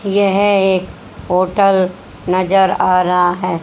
यह एक होटल नजर आ रहा है।